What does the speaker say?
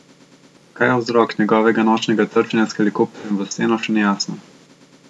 Kaj je vzrok njegova nočnega trčenja s helikopterjem v steno še ni jasno.